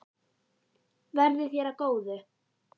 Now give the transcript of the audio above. Verði þér að góðu.